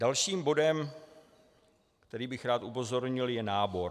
Dalším bodem, který bych rád upozornil, je nábor.